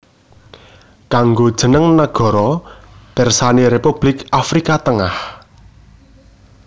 Kanggo jeneng nagara pirsani Republik Afrika Tengah